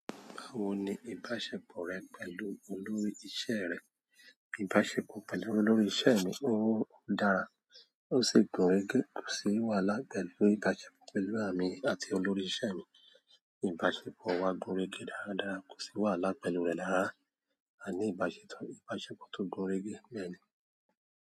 Báwo ni ìbáṣepọ̀ rẹ pẹ̀lú olórí iṣẹ́ rẹ? Ìbáṣepọ̀ pẹ̀lú olórí iṣẹ́ mi ó dára, ó sì gúnrégé, kò sì wàhálà pẹ̀lú ìbáṣepọ̀ pẹ̀lú èmi àti olórí iṣẹ́ mi. Ìbáṣepọ̀ wa gún régé dáradára, kò sì wàhálà pẹ̀lú rẹ̀ lára. A ní ibase to ìbáṣepọ̀ tó gúnrégé bẹ́ẹ̀ ni.